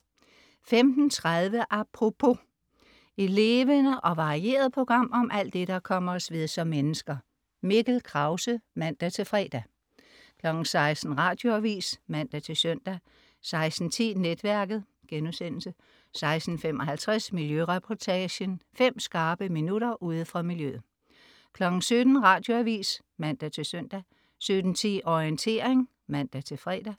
15.30 Apropos. et levende og varieret program om alt det, der kommer os ved som mennesker. Mikkel Krause (man-fre) 16.00 Radioavis (man-søn) 16.10 Netværket* 16.55 Miljøreportagen. Fem skarpe minutter ude fra miljøet 17.00 Radioavis (man-søn) 17.10 Orientering (man-fre)